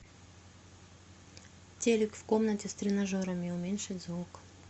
телик в комнате с тренажерами уменьшить звук